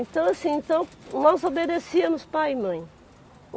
Então assim, então nós obedecíamos pai e mãe.